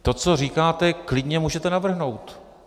To, co říkáte, klidně můžete navrhnout.